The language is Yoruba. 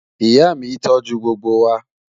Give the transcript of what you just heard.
Ìyà mi tó jù gbogbo wa.